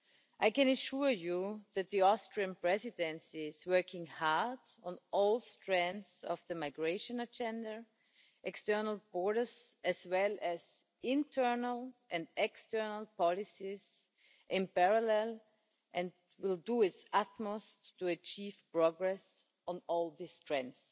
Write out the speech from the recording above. I can assure you that the Austrian Presidency is working hard on all strands of the migration agenda external borders as well as internal and external policies in parallel and will do its utmost to achieve progress on all these strands.